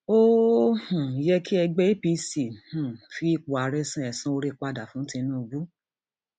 ó um yẹ kí ẹgbẹ apc apc um fi ipò ààrẹ san ẹsan oore padà fún tinubu